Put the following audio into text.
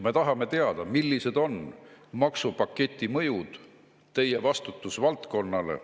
Me tahame teada, millised on maksupaketi mõjud ministri vastutusvaldkonnale.